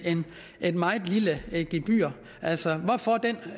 et meget lille gebyr altså hvorfor den